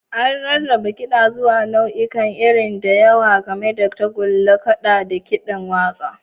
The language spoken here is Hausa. An rarraba kida zuwa nau'ikan iri da yawa, gami da tagulla, kaɗa, da kiɗan waƙa.